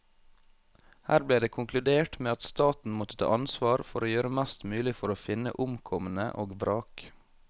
Her ble det konkludert med at staten måtte ta ansvar for å gjøre mest mulig for å finne omkomne og vrak.